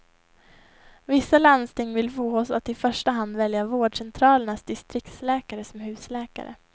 Vissa landsting vill få oss att i första hand välja vårdcentralernas distriktsläkare som husläkare.